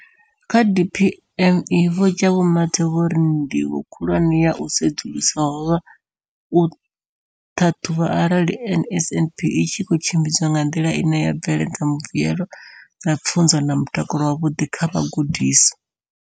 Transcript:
Kha DPME, Vho Jabu Mathe, vho ri ndivho khulwane ya u sedzulusa ho vha u ṱhaṱhuvha arali NSNP i tshi khou tshimbidzwa nga nḓila ine ya bveledza mbuelo dza pfunzo na mutakalo wavhuḓi kha vhagudiswa.